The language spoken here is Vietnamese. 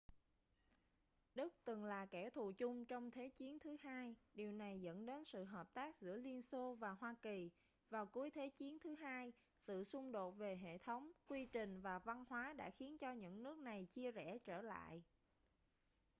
đức từng là kẻ thù chung trong thế chiến ii điều này dẫn đến sự hợp tác giữa liên xô và hoa kỳ vào cuối thế chiến ii sự xung đột về hệ thống quy trình và văn hóa đã khiến cho những nước này chia rẽ trở lại